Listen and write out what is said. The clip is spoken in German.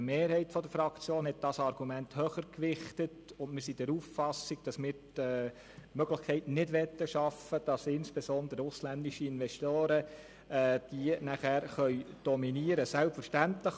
Eine Mehrheit der Fraktion gewichtet dieses Argument höher, und wir sind der Auffassung, dass wir die Möglichkeit nicht schaffen möchten, dass insbesondere ausländische Investoren diese nachher dominieren können.